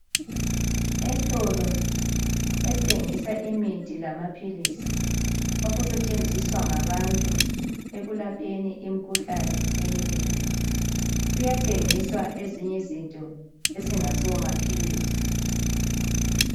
Esitolo esithengisa imithi lamaphilisi okusetshenziswa ngabantu ekulapheni imikhuhlane eminengi, kuyathengiswa ezinye izinto ezingasomaphilisi.